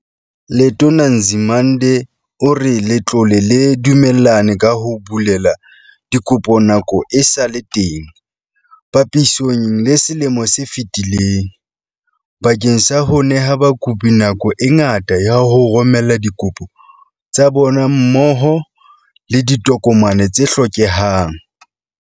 Letona Nzimande o re letlole le dumellane ka ho bulela dikopo nako e sa le teng, papisong le selemo se fetileng, bakeng sa ho neha bakopi nako e ngata ya ho romela dikopo tsa bona mmoho le ditokomane tse hlokehang.